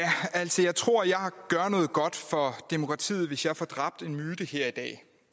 altså jeg tror jeg gør noget godt for demokratiet hvis jeg får dræbt en myte her i dag